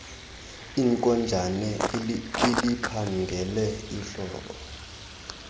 inkonjane iliphangele ihlobo